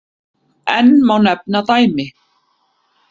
Enn má nefna dæmi.